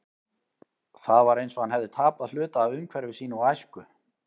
Það var eins og hann hefði tapað hluta af umhverfi sínu og æsku.